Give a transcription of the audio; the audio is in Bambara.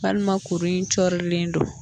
Walima kuru in cɔrilen don